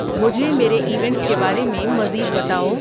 مجھے میرے ایونٹس کے بارے میں مزید بتاؤ